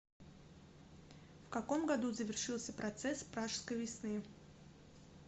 в каком году завершился процесс пражской весны